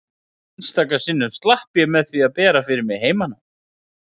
Einstaka sinnum slapp ég með því að bera fyrir mig heimanám.